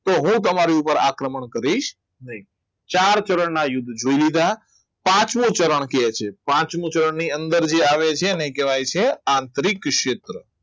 તો હું તમારું આક્રમણ કરીશ નહીં ચાર ચરણના યુદ્ધ જોઈ લીધા પાંચમો ચરણ કહે છે પાંચમુ ધોરણ ની અંદર જે આવે છે એને કહેવાય છે આંતરિક ક્ષેત્ર